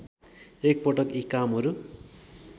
एकपटक यी कामहरू